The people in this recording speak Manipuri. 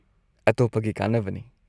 -ꯑꯇꯣꯞꯄꯒꯤ ꯀꯥꯟꯅꯕꯅꯤ꯫